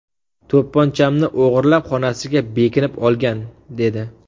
To‘pponchamni o‘g‘irlab xonasiga bekinib olgan”, dedi.